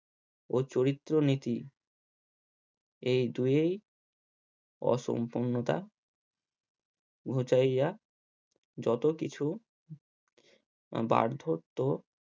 ও চরিত্র নীতি এই দুয়েই অসুম্পূর্ণতা ঘুচাইয়া যতকিছু বার্ধত্ব